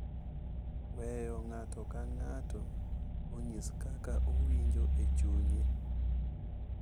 weyo ng’ato ka ng’ato onyis kaka owinjo e chunye,